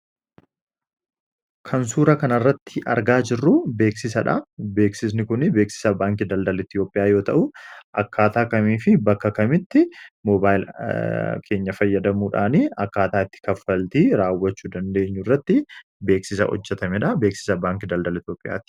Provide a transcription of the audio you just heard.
Kan suuraa kanarratti argaa jirru beeksisadha. Beeksisni kun beeksisa baankiin daldaala Itoophiyaa yoo ta'u, akkaataa kamiifi bakka kamitti mobaayila keenya fayyadamuudhani akkaataa itti kaffaltii raawwachuu dandeenyurratti beeksisa hojjatamedha. Beeksisa baankii daldalaa Itoopiyaati.